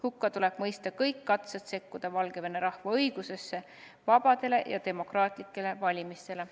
Hukka tuleb mõista kõik katsed sekkuda Valgevene rahva õigusesse vabadele ja demokraatlikele valimistele.